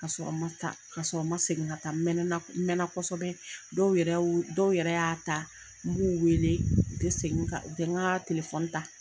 K'a sɔrɔ n ma taa k'a sɔrɔ n ma segin ka taa n mɛnɛna n mɛna kosɛbɛ dɔw yɛrɛ y'u dɔw y'a ta n b'u weele u te segin ka u tɛnka telefɔni ta